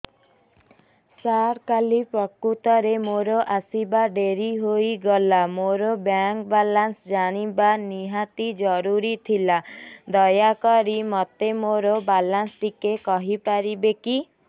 ସାର କାଲି ପ୍ରକୃତରେ ମୋର ଆସିବା ଡେରି ହେଇଗଲା ମୋର ବ୍ୟାଙ୍କ ବାଲାନ୍ସ ଜାଣିବା ନିହାତି ଜରୁରୀ ଥିଲା ଦୟାକରି ମୋତେ ମୋର ବାଲାନ୍ସ ଟି କହିପାରିବେକି